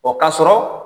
O ka sɔrɔ